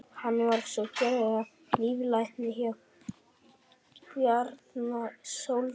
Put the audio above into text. hann var svo gerður að líflækni bjarna sóldáns